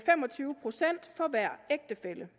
fem og tyve procent for hver ægtefælle